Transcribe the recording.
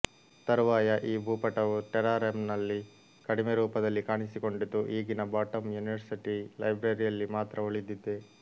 ತರುವಾಯ ಈ ಭೂಪಟವು ಟೆರಾರಮ್ನಲ್ಲಿ ಕಡಿಮೆ ರೂಪದಲ್ಲಿ ಕಾಣಿಸಿಕೊಂಡಿತು ಈಗಿನ ಬಾಟಮ್ ಯೂನಿವರ್ಸಿಟಿ ಲೈಬ್ರರಿಯಲ್ಲಿ ಮಾತ್ರ ಉಳಿದಿದೆ